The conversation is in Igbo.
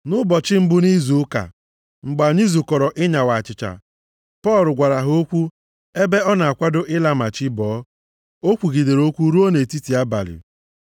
Nʼụbọchị mbụ nʼizu ụka, mgbe anyị zukọrọ ịnyawa achịcha, Pọl gwara ha okwu, ebe ọ na-akwado ịla ma chi bọọ, o kwugidere okwu ruo nʼetiti abalị.